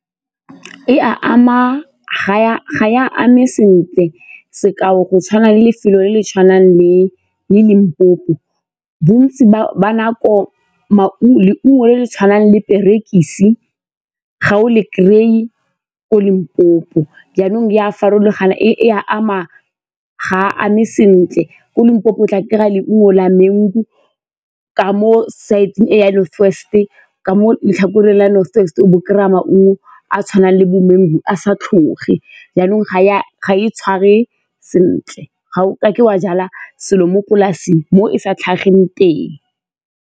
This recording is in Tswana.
Ga e a eme sentle sekao go tshwana le lefelo le le tshwanang le Limpopo bontsi ba nako. Leungo le le tshwanang diperekisi ga o le kry-e ko Limpopo jaanong e a farologana e a ama ga a ame sentle. Ko Limpopo o tla kry-a leungo la mango ka mo side-eng e ya North West-e, ka mo letlhakoreng la North West, o bo o kry-a maungo a tshwanang le bo-mango a sa tlhoge jaanong ga e tshware sentle ga o kake wa jala selo mo polasing mo e sa tlhageng teng.